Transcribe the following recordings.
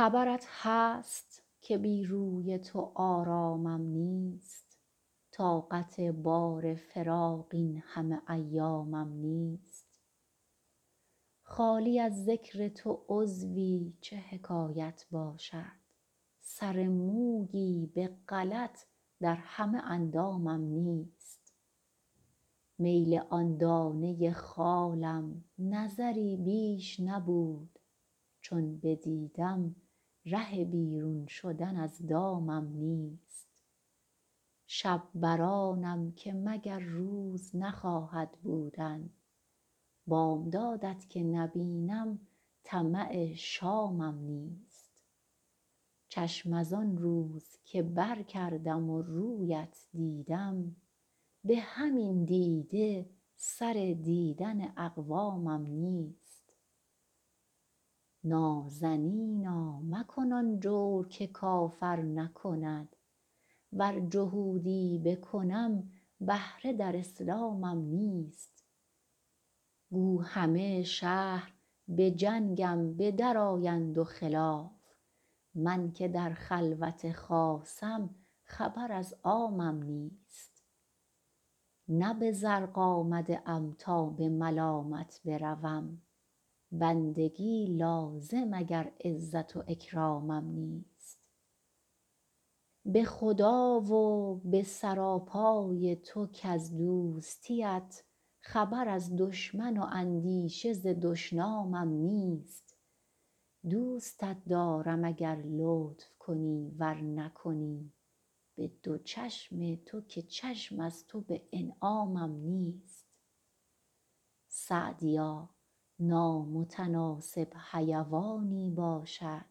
خبرت هست که بی روی تو آرامم نیست طاقت بار فراق این همه ایامم نیست خالی از ذکر تو عضوی چه حکایت باشد سر مویی به غلط در همه اندامم نیست میل آن دانه خالم نظری بیش نبود چون بدیدم ره بیرون شدن از دامم نیست شب بر آنم که مگر روز نخواهد بودن بامداد ت که نبینم طمع شامم نیست چشم از آن روز که برکردم و روی ات دیدم به همین دیده سر دیدن اقوامم نیست نازنینا مکن آن جور که کافر نکند ور جهودی بکنم بهره در اسلامم نیست گو همه شهر به جنگم به درآیند و خلاف من که در خلوت خاصم خبر از عامم نیست نه به زرق آمده ام تا به ملامت بروم بندگی لازم اگر عزت و اکرامم نیست به خدا و به سراپای تو کز دوستی ات خبر از دشمن و اندیشه ز دشنامم نیست دوستت دارم اگر لطف کنی ور نکنی به دو چشم تو که چشم از تو به انعامم نیست سعدیا نامتناسب حیوانی باشد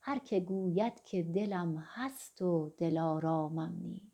هر که گوید که دلم هست و دلآرامم نیست